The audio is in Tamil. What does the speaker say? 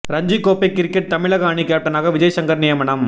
ரஞ்சி கோப்பை கிரிக்கெட் தமிழக அணி கேப்டனாக விஜய் ஷங்கர் நியமனம்